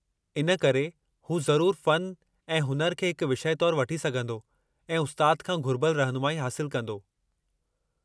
इन करे, हू ज़रूरु फ़न ऐं हुनुर खे हिक विषय तौर वठी सघंदो ऐं उस्ताद खां घुरिबलु रहिनुमाई हासिलु कंदो।